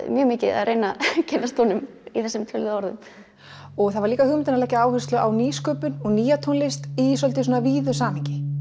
mjög mikið að reyna að kynnast honum í þessum töluðu orðum það var líka hugmyndin að leggja áherslu á nýsköpun og nýja tónlist í svolítið víðu samhengi